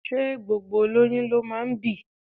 Ṣé gbogbo olóyún ló máa ń bí?